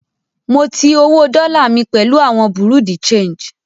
Mo ti owó dọ́là mi pẹ̀lú àwọn Bureau de change